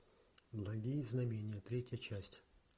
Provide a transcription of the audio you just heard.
благие знамения третья часть